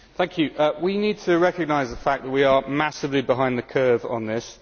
Mr President, we need to recognise the fact that we are massively behind the curve on this.